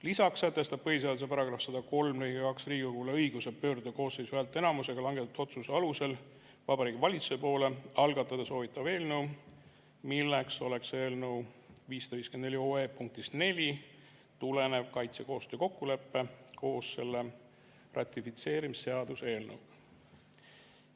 Lisaks sätestab põhiseaduse § 103 lõige 2 Riigikogule õiguse pöörduda koosseisu häälteenamusega langetatud otsuse alusel Vabariigi Valitsuse poole algatada soovitav eelnõu, milleks oleks eelnõu 554 punktist 4 tulenev kaitsekoostöö kokkulepe koos selle ratifitseerimise seaduse eelnõuga.